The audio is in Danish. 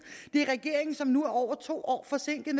det er regeringen som nu er over to år forsinket